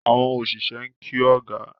Àwọn oṣiṣẹ n kí ọgá.